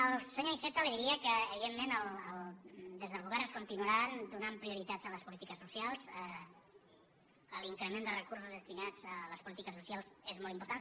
al senyor iceta li diria que evidentment des del govern es continuarà donant prioritat a les polítiques socials a l’increment de recursos destinats a les polítiques socials és molt important